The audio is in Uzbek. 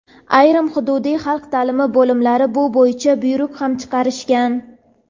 ayrim hududiy xalq taʼlimi bo‘limlari bu bo‘yicha buyruq ham chiqarishgan.